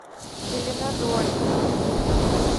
зеленодольска